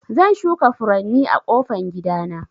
Zan shuka furanni a ƙofan gida na.